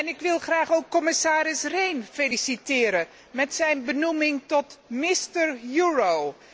Ik wil graag ook commissaris Rehn feliciteren met zijn benoeming tot Mister euro